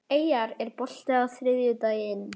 Eyjar, er bolti á þriðjudaginn?